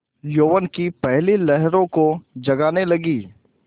यौवन की पहली लहरों को जगाने लगी